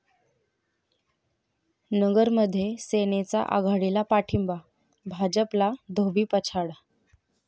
नगरमध्ये सेनेचा आघाडीला पाठिंबा, भाजपला धोबीपछाड